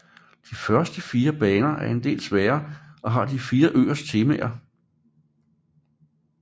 De første fire baner er del sværere og har de fire øers temaer